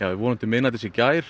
við vorum til miðnættis í gær